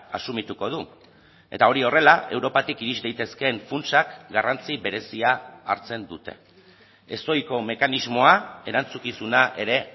asumituko du eta hori horrela europatik iris daitezkeen funtsak garrantzi berezia hartzen dute ez ohiko mekanismoa erantzukizuna ere